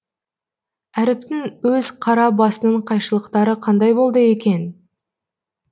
әріптің өз қара басының қайшылықтары қандай болды екен